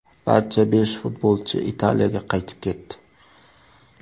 Barcha besh futbolchi Italiyaga qaytib ketdi.